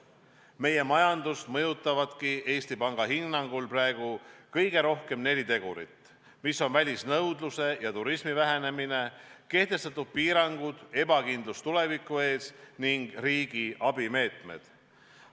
Meie majandust mõjutavadki Eesti Panga hinnangul praegu kõige rohkem neli tegurit: välisnõudluse ja turismi vähenemine, kehtestatud piirangud, ebakindlus tuleviku ees ning riigi abimeetmed.